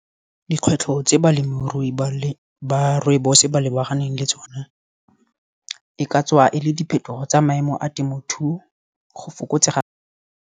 Dikgwetlho tse balemirui ba rooibos ba lebaganeng le tsone e ka tswa e le diphetogo tsa maemo a temothuo, go fokotsega.